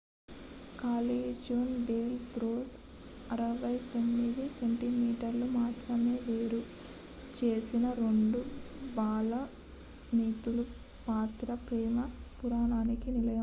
Callejon del Beso alley of the kiss 69 centimetres మాత్రమే వేరు చేసిన 2 బాల్కనీలు పాత ప్రేమ పురాణానికి నిలయం